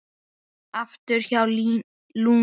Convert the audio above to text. Aftur hjá Lúnu